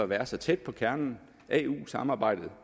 være så tæt på kernen af eu samarbejdet